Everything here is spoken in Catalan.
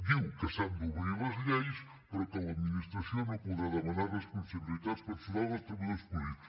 diu que s’han d’obrir les lleis però que l’administració no podrà demanar responsabilitats personals als treballadors públics